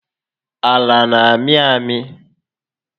Ala n'amị amị